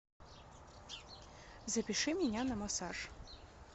запиши меня на массаж